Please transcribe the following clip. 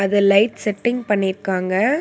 இத light setting பண்ணி இர்க்காங்க.